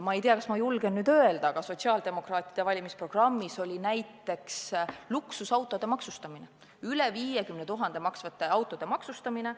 Ma ei tea, kas ma julgen nüüd seda öelda, aga sotsiaaldemokraatide valimisprogrammis oli näiteks luksusautode, üle 50 000 euro maksvate autode maksustamine.